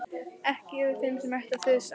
Ekki yfir þeim sem ætti að þusa.